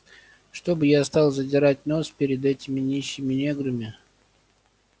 чтоб я стал задирать нос перед этими нищими неграми